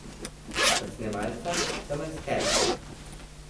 Od snemalca do maskerke.